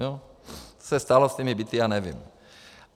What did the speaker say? Co se stalo s těmi byty já nevím.